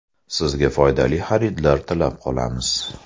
Sizga foydali xaridlar tilab qolamiz!